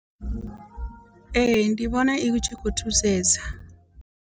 Ee ndi vhona I tshikho thusesa.